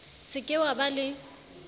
se ke wa ba le